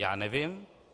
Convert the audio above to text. Já nevím.